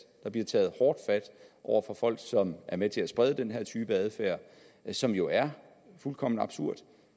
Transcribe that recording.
der bliver taget hårdt fat over for folk som er med til at sprede den her type adfærd som jo er fuldkommen absurd og